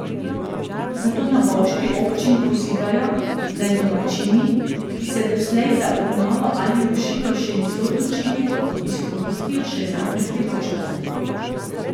Zato na bovški občini pozivajo, naj domačini, ki se doslej za obnovo ali rušitev še niso odločili, izkoristijo še zadnjo priložnost.